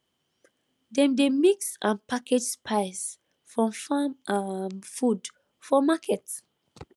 dem dey mix and package spice from farm um food for market